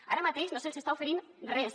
ara mateix no se’ls està oferint res